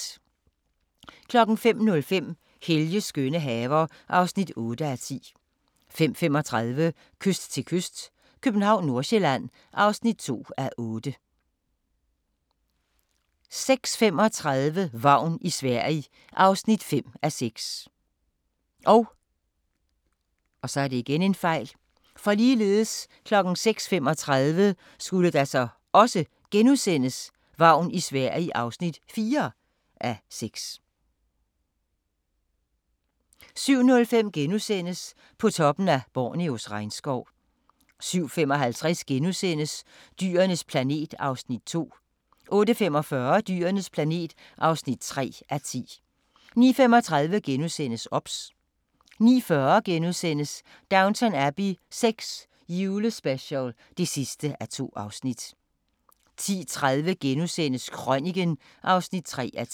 05:05: Helges skønne haver (8:10) 05:35: Kyst til kyst - København/Nordsjælland (2:8) 06:35: Vagn i Sverige (5:6) 06:35: Vagn i Sverige (4:6)* 07:05: På toppen af Borneos regnskov * 07:55: Dyrenes planet (2:10)* 08:45: Dyrenes planet (3:10) 09:35: OBS * 09:40: Downton Abbey VI – julespecial (2:2)* 10:30: Krøniken (3:10)*